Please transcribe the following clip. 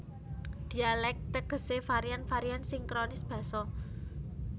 Dhialèk tegesé varian varian sinkronis basa